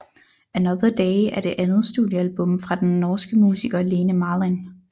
Another Day er det andet studiealbum fra den norske musiker Lene Marlin